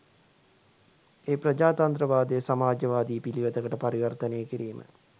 ඒ ප්‍රජාතන්ත්‍රවාදය සමාජවාදී පිළිවෙතකට පරිවර්තනය කිරීම